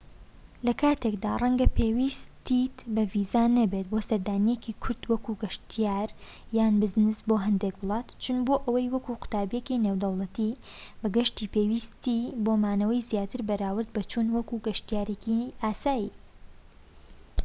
لە کاتێکدا رەنگە پێویستیت بە ڤیزە نەبێت بۆ سەردانیەکی کورت وەک گەشتیار یان بزنس بۆ هەندێک وڵات چوون بۆ ئەوێ وەک قوتابیەکی نێودەوڵەتی بەگشتی پێویستی بە مانەوەی زیاترە بەراورد بە چوون وەک گەشتیارێکی ئاسایی